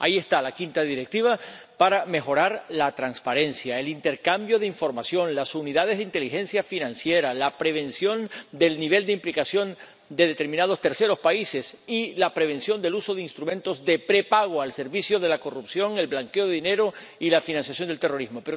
Ahí está la quinta Directiva para mejorar la transparencia, el intercambio de información, las unidades de inteligencia financiera, la prevención del nivel de implicación de determinados terceros países y la prevención del uso de instrumentos de prepago al servicio de la corrupción, el blanqueo de dinero y la financiación del terrorismo.